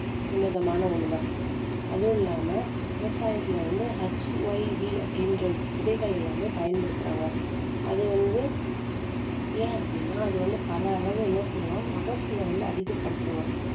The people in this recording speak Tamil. உன்னதமான ஒண்ணுதான் அதுவும் இல்லாம விவசாயத்துல வந்து HYV அப்படீன்ற விதைகள் எல்லாமே பயன்படுத்துறாங்க அது வந்து ஏன் அப்படீன்னா அது வந்து பல அளவு என்ன செய்யுன்னா மகசூல வந்து அதிகப்படுத்துமாம்